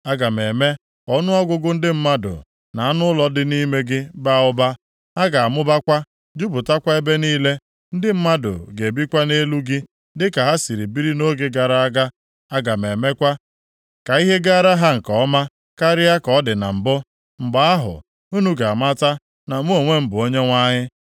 Aga m eme ka ọnụọgụgụ ndị mmadụ, na anụ ụlọ dị nʼime gị baa ụba. Ha ga-amụbakwa, jupụtakwa ebe niile. Ndị mmadụ ga-ebikwa nʼelu gị dịka ha si biri nʼoge gara aga. Aga m emekwa ka ihe gaara ha nke ọma karịa ka ọ dị na mbụ. Mgbe ahụ, unu ga-amata na mụ onwe m bụ Onyenwe anyị.